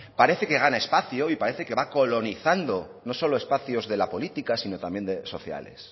parece que gana espacio y parece que va colonizando no solo espacios de la política sino también sociales